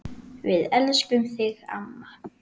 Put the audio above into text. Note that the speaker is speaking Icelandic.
Við elskum þig amma.